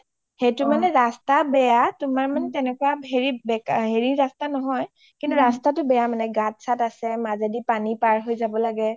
সেইটো মানে ৰাস্তা বেয়া তোমাৰ মানে সেনেকুৱা ৰাস্তা নহয় কিন্তু ৰাস্তাটো বেয়া মানে গাত চাত আছে মাজদি পানি পাৰ হৈ যাব লাগে